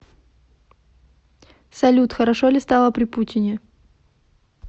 салют хорошо ли стало при путине